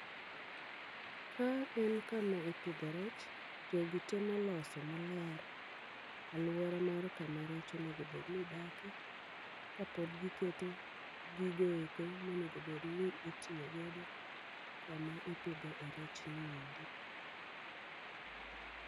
Ka en kama ipidhe rech, jogi temo loso maler alwora mar kama rech onegobedni dake. Kapod giketo gigo eko monegobedni itiyogodo kama ipidho e rechni endi.